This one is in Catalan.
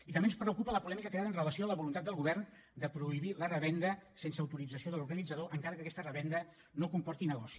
i també ens preocupa la polèmica creada amb relació a la voluntat del govern de prohibir la revenda sense autorització de l’organitzador encara que aquesta revenda no comporti negoci